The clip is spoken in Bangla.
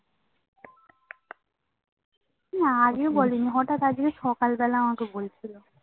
না আগে বলে নি হটাৎ আজকে সকাল বেলা আমাকে বলছিলো